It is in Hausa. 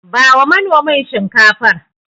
Bawa manomin Shinkafar.